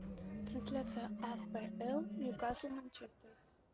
трансляция апл ньюкасл манчестер